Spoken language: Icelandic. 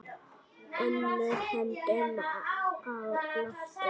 Önnur höndin á lofti.